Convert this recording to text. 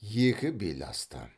екі бел асты